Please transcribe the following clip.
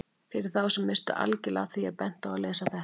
Fyrir þá sem misstu algjörlega af því er bent á að lesa þetta.